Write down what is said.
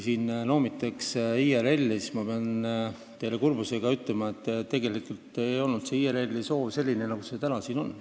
Siin noomitakse IRL-i, aga ma pean teile kurbusega ütlema, et tegelikult ei olnud IRL-i soov selline lahendus, nagu see täna siin on.